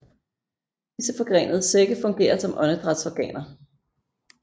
Disse forgrenede sække fungerer som åndedrætsorganer